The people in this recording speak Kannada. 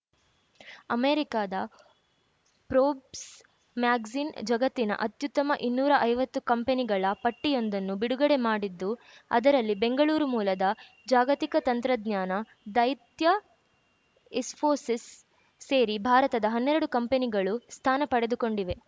ಅಮೆರಿಕದ ಪ್ರೋಬ್ಸ್ ಮ್ಯಾಗಜಿನ್‌ ಜಗತ್ತಿನ ಅತ್ಯುತ್ತಮ ಇನ್ನೂರೈವತ್ತು ಕಂಪನಿಗಳ ಪಟ್ಟಿಯೊಂದನ್ನು ಬಿಡುಗಡೆ ಮಾಡಿದ್ದು ಅದರಲ್ಲಿ ಬೆಂಗಳೂರು ಮೂಲದ ಜಾಗತಿಕ ತಂತ್ರಜ್ಞಾನ ದೈತ್ಯ ಇಸ್ಫೋಸಿಸ್‌ ಸೇರಿ ಭಾರತದ ಹನ್ನೆರಡು ಕಂಪನಿಗಳು ಸ್ಥಾನ ಪಡೆದುಕೊಂಡಿವೆ